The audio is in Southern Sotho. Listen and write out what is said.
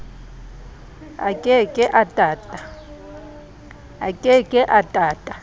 a ke ke a tata